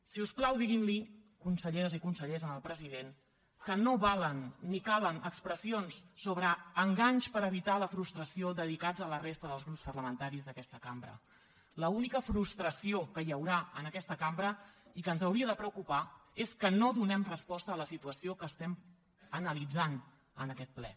si us plau diguin li conselleres i consellers al president que no valen ni calen expressions sobre enganys per evitar la frustració dedicats a la resta dels grups parlamentaris d’aquesta cambra l’única frustració que hi haurà en aquesta cambra i que ens hauria de preocupar és que no donem resposta a la situació que estem analitzant en aquest ple